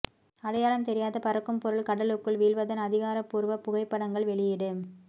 அடையாளம் தெரியாத பறக்கும் பொருள் கடலுக்குள் வீழ்வதன் அதிகாரபூர்வ புகைப்படங்கள் வெளியீடு